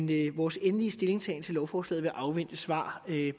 det vores endelige stillingtagen til lovforslaget vil afvente svar